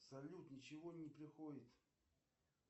салют ничего не приходит